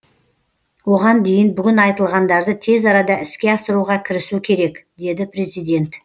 оған дейін бүгін айтылғандарды тез арада іске асыруға кірісу керек деді президент